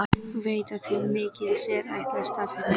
Veit að til mikils er ætlast af henni.